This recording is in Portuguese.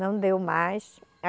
Não deu mais.